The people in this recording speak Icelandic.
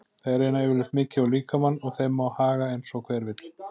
Þeir reyna yfirleitt mikið á líkamann og þeim má haga eins og hver vill.